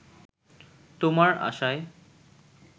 তোমার আশায়